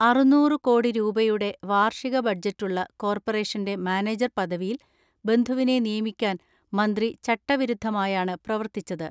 അറുന്നൂര് കോടി രൂപയുടെ വാർഷിക ബഡ്ജറ്റുള്ള കോർപ്പറേഷന്റെ മാനേജർ പദവിയിൽ ബന്ധുവിനെ നിയമിക്കാൻ മന്ത്രി ചട്ടവിരുദ്ധമായാണ് പ്രവർത്തിച്ചത്.